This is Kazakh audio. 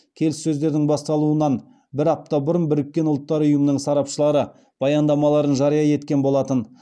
келіссөздердің басталуынан бір апта бұрын біріккен ұлттар ұйымының сарапшылары баяндамаларын жария еткен болатын